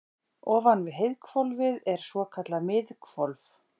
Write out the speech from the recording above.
ofan við heiðhvolfið er svokallað miðhvolf